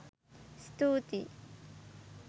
ස්තුතියි!